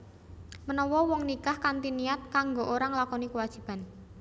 Menawa wong nikah kanthi niat kanggo ora nglakoni kewajiban